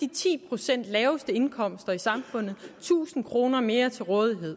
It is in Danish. de ti procent laveste indkomster i samfundet tusind kroner mere til rådighed